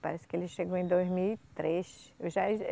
Parece que ele chegou em dois mil e três. Eu já